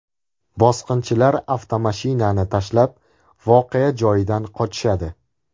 Bosqinchilar avtomashinani tashlab voqea joyidan qochishadi.